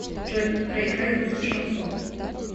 джой проиграй русский шансон